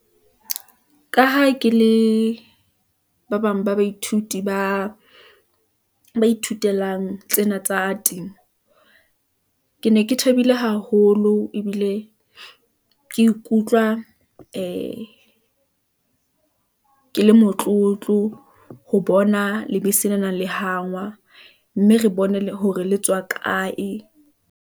Ka ha ke le ba bang ba baithuti ba ba ithutelang tsena tsa temo . Ke ne ke thabile haholo ebile , ke ikutlwa ee ke le motlotlo , ho bona lebese le nang le hangwa , mme re bone le hore le tswa kae.